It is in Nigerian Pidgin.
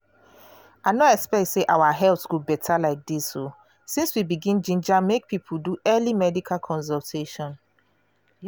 i no expect say our health go beta like this o since we begin ginger make people do early medical consultation.